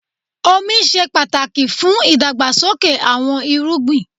Omi ṣe pàtàkì fún ìdàgbàsókè àwọn irúgbìn.